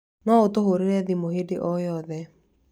No ũtũhũrĩre thimũ hĩndĩ o yothe.